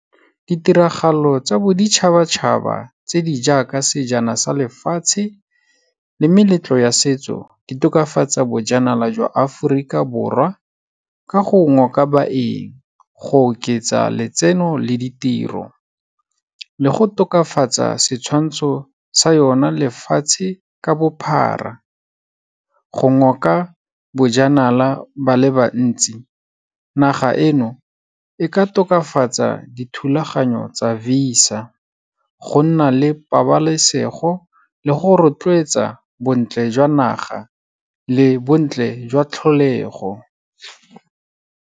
Ditiragalo tsa boditšhabatšhaba tse di jaaka Sejana sa Lefatshe le meletlo ya setso, di tokafatsa bojanala jwa Aforika Borwa, ka go ngoka baeng, go oketsa letseno le ditiro, le go tokafatsa setshwantsho sa yona lefatshe ka bophara. Go ngoka bojanala ba le bantsi, naga eno e ka tokafatsa dithulaganyo tsa VISA, go nna le pabalesego le go rotloetsa bontle jwa naga le bontle jwa tlholego.